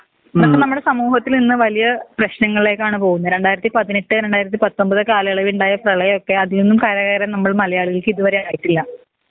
അപ്പൊ നമ്മുടെ സമൂഹത്തിൽ ഇന്ന് വലിയ പ്രേശ്നങ്ങളെക്കാണ് പോവുന്നെ രണ്ടായിരത്തി പതിനെട്ട് രണ്ടായിരത്തി പത്തൊമ്പത് കാലയളവിൽ ഉണ്ടായ പ്രെളയൊക്കെ അതീന്ന് കര കേറാൻ നമ്മൾ മലയാളികൾക്ക് ഇതുവരെ ആയിട്ടില്ല